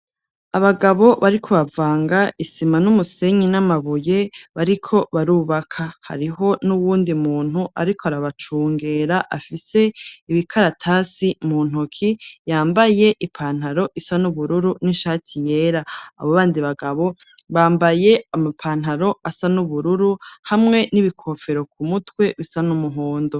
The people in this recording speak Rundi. Abagabo bariko bavanga isima n'umusenyi, n'amabuye bariko barubaka. Hariho n'uwundi muntu ariko arabacungera, afise ibikaratasi mu ntoki ,yambaye ipantaro isa n'ubururu, n'ishati yera, abo bandi bagabo bambaye amapantaro asa n'ubururu, hamwe n'ibikofero ku mutwe bisa n'umuhondo.